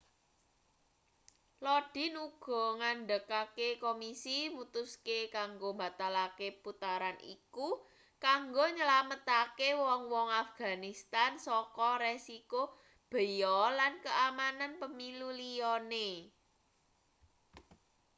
lodin uga ngandhakake komisi mutuske kanggo mbatalake putaran iku kanggo nylametake wong-wong afganistan saka resiko beya lan keamanan pemilu liyane